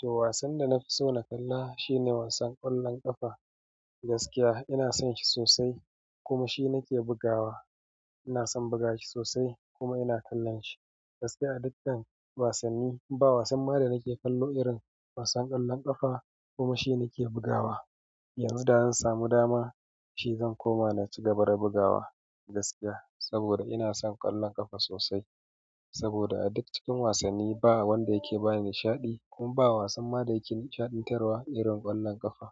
To wasan da na fi so na kalla shine wasan ƙwallon ƙafa gaskiya ina son shi sosai kuma shi nake bugawa. Ina son buga shi sosai kuma ina kallon shi gaskiya a dukkan wasanni ba wasan mara nake kallo irin wasan ƙwallon ƙafa kuma shi nake bugawa. Yanzu da zan samu dama shi zan koma na ci gaba da bugawa gaskiya saboda ina son ƙwallon ƙafa sosai. Saboda a duk cikin wasanni ba wanda yake bani nishaɗi kuma ba wasan mara yake nishaɗantarwa irin ƙwallon ƙafa.